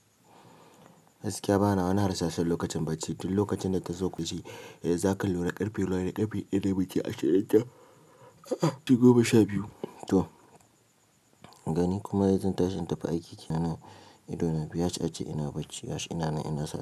Gaskiya bana wani harsashi lokacin bacci. Duk lokacin da ta zo ku je, eh zaka lura ƙarfe nawa ne ƙarfe ɗaya ne da min ashirin da? A'a, tunda goma sha biyu. To gani kuma yanzu zan tashi in tafi aiki kenan idona biyu yaci ace ina bacci. Gashi ina na ina sa.